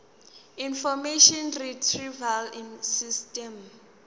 information retrieval system